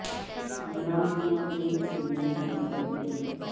عمران خان اور ان کی فلموں کے بارے میں